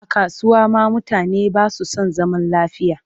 A kasuwa ma mutane ba su san zaman lafiya